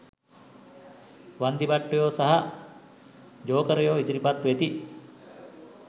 වන්දිභට්ටයෝ සහ ජෝකරයෝ ඉදිරිපත් වෙති.